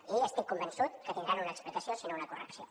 i estic convençut que tindran una explicació si no una correcció